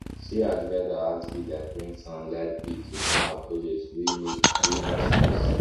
sarah divide her house bills like rent and light bill to plan her budget wey make wey make sense